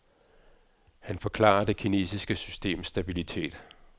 Han forklarer det kinesiske systems stabilitet.